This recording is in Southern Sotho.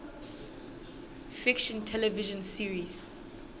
fiction television series